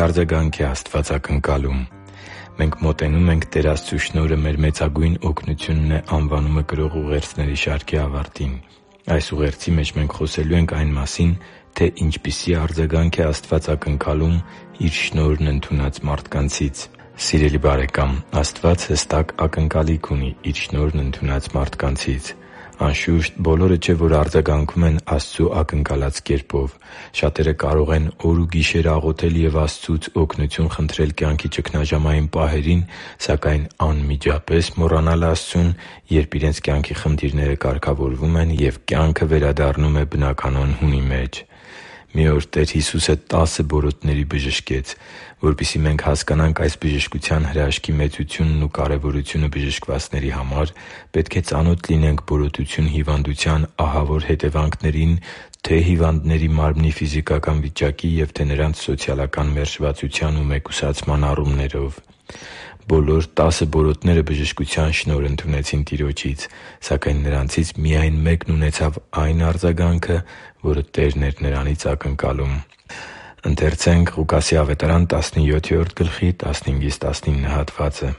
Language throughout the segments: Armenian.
արձագանք է Աստված ակնկալում Մենք մոտենում ենք «Տեր Աստծու շնորհը մեր մեծագույն օգնությունն է» անվանումը կրող ուղերձների շարքի ավարտին։ Այս ուղերձի մեջ մենք խոսելու ենք այն մասին, թե ինչպիսի արձագանք է Աստված ակնկալում Իր շնորհն ընդունած մարդկանցից։ Սիրելի՛ բարեկամ, Աստված հստակ ակնկալիք ունի Իր շնորհն ընդունած մարդկանցից։ Անշուշտ, բոլորը չէ, որ արձագանքում են Աստծու ակնկալած կերպով։ Շատերը կարող են օր ու գիշեր աղոթել և Աստծուց օգնություն խնդրել կյանքի ճգնաժամային պահերին, սակայն անմիջապես մոռանալ Աստծուն, երբ իրենց կյանքի խնդիրները կարգավորվում են, և կյանքը վերադառնում է բնականոն հունի մեջ։ Մի օր Տեր Հիսուսը տասը բորոտների բժշկեց։ Որպեսզի մենք հասկանանք այս բժշկության հրաշքի մեծությունն ու կարևորությունը բժշկվածների համար, պետք է ծանոթ լինենք բորոտություն հիվանդության ահավոր հետևանքներին թե՛ հիվանդների մարմնի ֆիզիկական վիճակի և թե՛ նրանց սոցիալական մերժվածության ու մեկուսացման առումներով։ Բոլոր տասը բորոտները բժշկության շնորհ ընդունեցին Տիրոջից։ Սակայն նրանցից միայն մեկն ունեցավ այն արձագանքը, որը Տերն էր նրանից ակնկալում։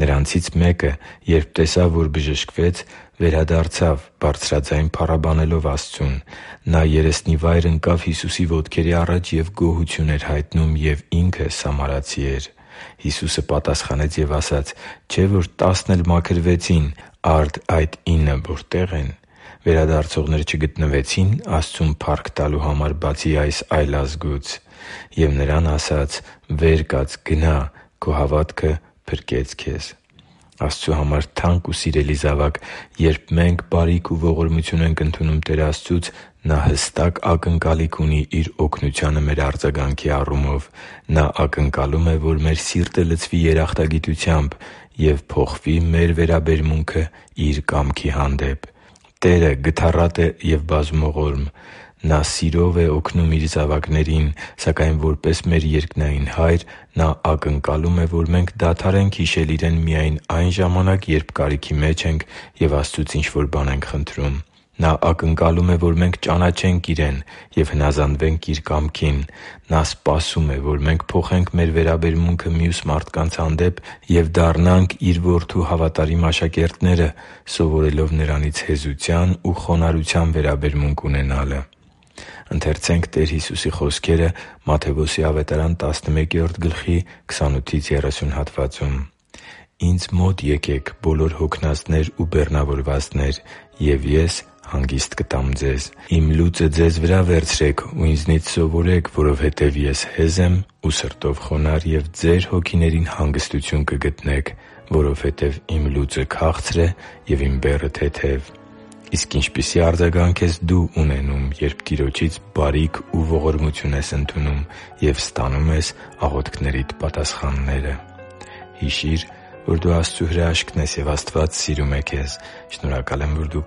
«Նրանցից մեկը, երբ տեսավ, որ բժշկվեց, վերադարձավ՝ բարձրաձայն փառաբանելով Աստծուն։ Նա երեսնիվայր ընկավ Հիսուսի ոտքերի առաջ և գոհություն էր հայտնում, և ինքը սամարացի էր։ Հիսուսը պատասխանեց և ասաց. «Չէ՞ որ տասն էլ մաքրվեցին, արդ այն ինը որտե՞ղ են։ Վերադարձողներ չգտնվեցի՞ն Աստծուն փառք տալու համար, բացի այս այլազգուց»։ Եվ նրան ասաց. «Վեր կաց գնա՛, քո հավատը փրկեց քեզ» (Ղուկաս 17.15-19 ՆՎԱԱ): Աստծո համար թանկ ու սիրելի՛ զավակ, երբ մենք բարիք ու ողորմություն ենք ընդունում Տեր Աստծուց, Նա հստակ ակնկալիք ունի Իր օգնությանը մեր արձագանքի առումով։ Նա ակնկալում է, որ մեր սիրտը լցվի երախտագիտությամբ և փոխվի մեր վերաբերմունքը Իր կամքի հանդեպ։ Տերը գթառատ է և բազումողորմ։ Նա սիրով է օգնում Իր զավակներին։ Սակայն, որպես մեր երկնային Հայր, Նա ակնկալում է, որ մենք դադարենք հիշել Իրեն միայն այն ժամանակ, երբ կարիքի մեջ ենք և Աստծուց ինչ-որ բան ենք խնդրում։ Նա ակնկալում է, որ մենք ճանաչե՛նք Իրեն ու հնազանդվենք Իր կամքին։ Նա սպասում է, որ մենք փոխենք մեր վերաբերմունքը մյուս մարդկանց հանդեպ և դառնանք Իր Որդու հավատարիմ աշակերտները՝ սովորելով Նրանից հեզության ու խոնարհության վերաբերմունք ունենալը։ «Ինձ մո՛տ եկեք, բոլո՛ր հոգնածներ ու բեռնավորվածներ, և Ես հանգիստ կտամ ձեզ։ Իմ լուծը ձեզ վրա՛ վերցրեք ու Ինձանի՛ց սովորեք, որովհետև Ես հեզ եմ ու սրտով խոնարհ, և ձեր հոգիներին հանգստություն կգտնեք, որովհետև Իմ լուծը քաղցր է, և Իմ բեռը՝ թեթև» (Մատթեոս 11.28-30 ՆՎԱԱ): Իսկ ինչպիսի՞ արձագանք ես դո՛ւ ունենում, երբ Տիրոջից բարիք ու ողորմություն ես ընդունում և ստանում ես աղոթքներիդ պատասխանները․․․ Հիշի՛ր, որ դու Աստծո հրաշքն ես, և Աստված սիրում է քեզ։ Շնորհակալ եմ, որ դու